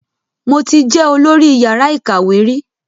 Mo ti jẹ olọ́rí yàrá ìkàwé rí